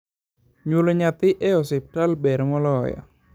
nyuolo nyathi e hopital ber moloyo